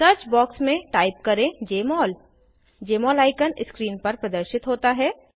search box में type करें जमोल जमोल आइकन स्क्रीन पर प्रदर्शित होता है